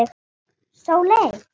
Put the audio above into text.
Sóley, sagði Dísa.